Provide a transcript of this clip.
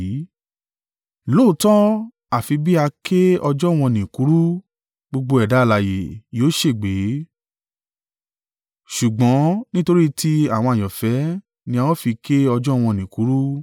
“Lóòótọ́, àfi bí a ké ọjọ́ wọ̀n-ọn-nì kúrú, gbogbo ẹ̀dá alààyè yóò ṣègbé. Ṣùgbọ́n nítorí ti àwọn àyànfẹ́ ni a ó fi ké ọjọ́ wọ̀n-ọn-nì kúrú.